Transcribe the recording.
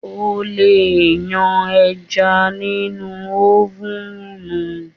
O lè yan ẹja nínú ófùnù